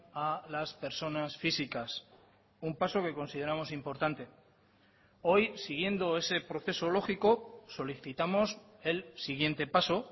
a las personas físicas un paso que consideramos importante hoy siguiendo ese proceso lógico solicitamos el siguiente paso